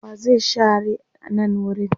wa zai share nan wurin?